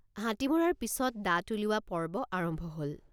হাতী মৰাৰ পিচত দাঁত উলিওৱা পৰ্ব আৰম্ভ হল।